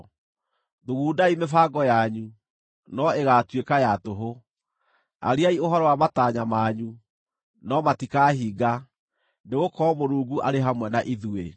Thugundai mĩbango yanyu, no ĩgaatuĩka ya tũhũ; ariai ũhoro wa matanya manyu, no matikahinga, nĩgũkorwo Mũrungu arĩ hamwe na ithuĩ.